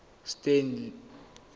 stanley